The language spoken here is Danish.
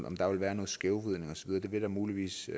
om der vil være noget skævvridning og så videre det vil der muligvis